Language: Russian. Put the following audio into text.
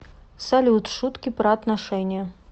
салют шутки про отношения